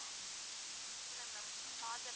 இல்ல ma'am father